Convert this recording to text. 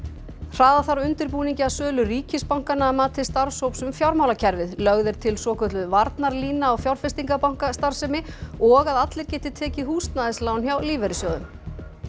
hraða þarf undirbúningi að sölu ríkisbankanna að mati starfshóps um fjármálakerfið lögð er til svokölluð varnarlína á fjárfestingabankastarfsemi og að allir geti tekið húsnæðislán hjá lífeyrissjóðum